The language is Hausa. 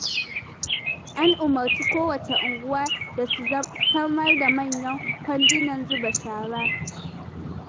An umarci kowacce unguwa da su samar da manyan kwandunan zuba shara.